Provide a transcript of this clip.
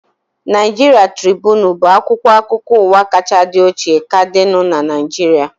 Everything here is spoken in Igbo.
Naịjiria Tribunu bụ akwụkwọ akụkọ ụwa kachaa dị ochie ka dịnu n'Naijiria